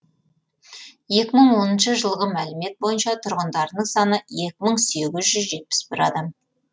екі мың оныншы жылғы мәлімет бойынша тұрғындарының саны екі мың сегіз жүз жетпіс бір адамды құрайды